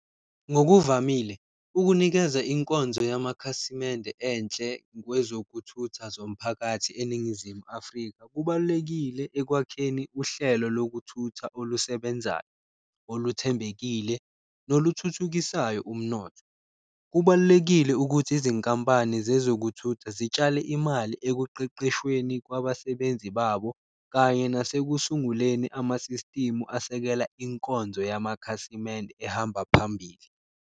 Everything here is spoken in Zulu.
Ngokuvamile ukunikeza inkonzo yamakhasimende enhle kwezokuthutha zomphakathi eNingizimu Afrika kubalulekile ekwakheni uhlelo lokuthutha olusebenzayo, oluthembekile noluthuthukisayo umnotho. Kubalulekile ukuthi izinkampani zezokuthutha zitshale imali ekuqeqeshweni kwabasebenzi babo, kanye nasekusunguleni amasistimu asekela inkonzo yamakhasimende ehamba phambili.